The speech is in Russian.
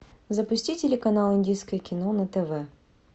запусти телеканал индийское кино на тв